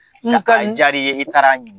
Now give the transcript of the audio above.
N ka ajara i ye i taara ɲini